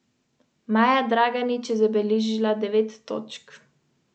Vinska karta ni preveč obsežna, imamo kakšnih deset belih in deset rdečih vin.